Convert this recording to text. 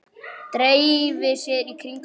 Dreifi sér í kringum hann.